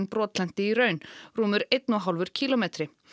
brotlenti í raun rúmur einn og hálfur kílómetri